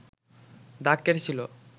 দাগ কেটেছিল